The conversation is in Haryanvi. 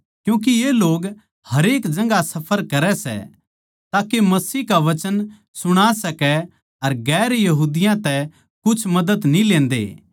क्यूँके ये लोग हरेक जगहां सफर करै सै ताके मसीह का वचन सुणा सकै अर दुसरी जात्तां तै कुछ मदद न्ही लेंदे